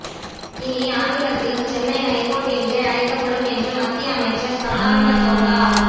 இனி ஆங்கிலத்திலும் சென்னை ஹைகோர்ட் என்றே அழைக்கப்படும் என்று மத்திய அமைச்சர் சதானந்த கவுடா